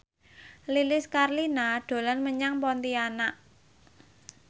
Lilis Karlina dolan menyang Pontianak